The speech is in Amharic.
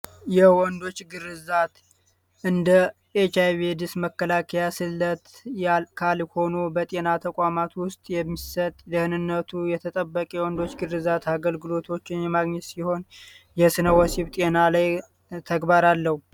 የወንዶች ግርዛት እንደ ኤች አይ ቪ ኤዲስ መከላከያ ስለት ካልሆኑ በጤና ተቋማት ውስጥ የሚሰጥ ደህነነቱ የተጠበቀ የወንዶች ግርዛት አገልግሎቶችን የምግኘት ሲሆን የሰነ ወሲብ ጤና ላይ ተግባር አለው።